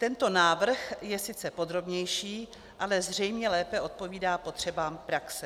Tento návrh je sice podrobnější, ale zřejmě lépe odpovídá potřebám praxe.